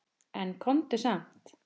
En komdu samt!